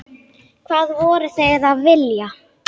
Hvað voru þeir að vilja?